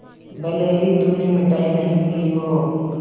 भले ही तुमने मिठाई नहीं ली हो